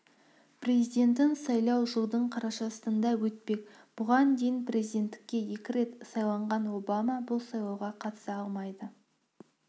президентін сайлау жылдың қарашасында өтпек бұған дейін президенттікке екі рет сайланған обама бұл сайлауға қатыса алмайды